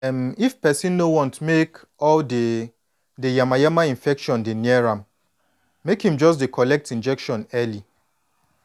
em if person no want make all de de yama-yama infection dey near make em just dey collect injection early